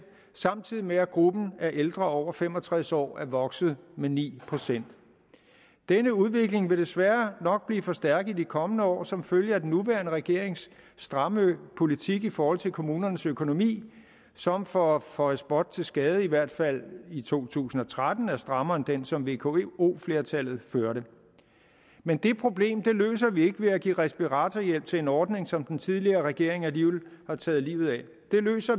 samtidig med at gruppen af ældre over fem og tres år er vokset med ni procent denne udvikling vil desværre nok blive forstærket i de kommende år som følge af den nuværende regerings stramme politik i forhold til kommunernes økonomi som for at føje spot til skade i hvert fald i to tusind og tretten er strammere end den som vko flertallet førte men det problem løser vi ikke ved at give respiratorhjælp til en ordning som den tidligere regering alligevel har taget livet af vi løser